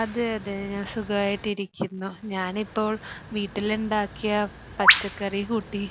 അതെ അതെ ഞാൻ സുഖമായിട്ടിക്കുന്നു. ഞാനിപ്പോൾ വീട്ടിലുണ്ടാക്കിയ പച്ചക്കറികൂട്ടി